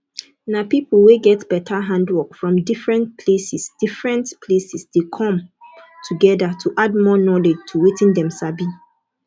na pipo wey get better handwork from different places different places de come together to add more knowlwdge to wetin dem sabi